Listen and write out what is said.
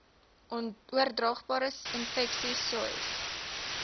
oordraagbare infeksies sois